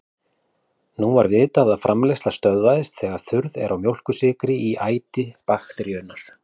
Nú var vitað að framleiðsla stöðvast þegar þurrð er á mjólkursykri í æti bakteríunnar.